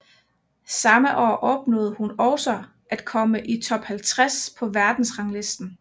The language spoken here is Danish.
Samme år opnåede hun også at komme i Top 50 på verdensranglisten